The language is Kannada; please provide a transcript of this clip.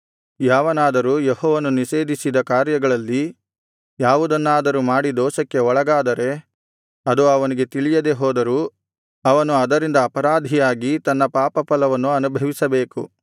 ಯಾವನಾದರೂ ಯೆಹೋವನು ನಿಷೇಧಿಸಿದ ಕಾರ್ಯಗಳಲ್ಲಿ ಯಾವುದನ್ನಾದರೂ ಮಾಡಿ ದೋಷಕ್ಕೆ ಒಳಗಾದರೆ ಅದು ಅವನಿಗೆ ತಿಳಿಯದೆ ಹೋದರೂ ಅವನು ಅದರಿಂದ ಅಪರಾಧಿಯಾಗಿ ತನ್ನ ಪಾಪಫಲವನ್ನು ಅನುಭವಿಸಬೇಕು